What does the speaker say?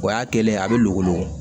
O y'a kɛlen ye a bɛ logolo